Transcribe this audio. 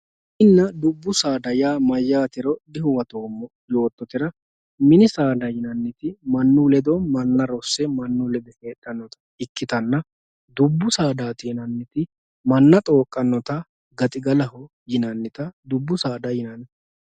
mininna dubbu saada yaa mayaatero dihuwatoomo yoototera mini saada yinanniti mannu ledo manna rosse manu ledo heexxannota ikkitanna dubbu saadati yinanniti manna xooqqannota gaxigalaho yinannita dubbu saada yinanni.